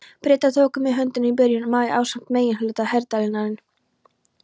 Bretar tóku mig höndum í byrjun maí ásamt meginhluta herdeildarinnar.